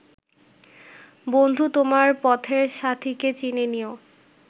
বন্ধু তোমার পথের সাথীকে চিনে নিও